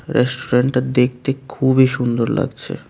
রেস্টুরেন্টটা দেখতে খুবই সুন্দর লাগছে।